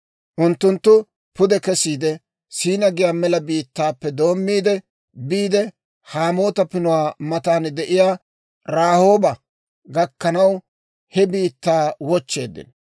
Unttunttu pude kesiide, S'iina giyaa mela biittaappe doommiide, biide Hamaata Pinuwaa matan de'iyaa Rahooba gakkanaw he biittaa wochcheeddino.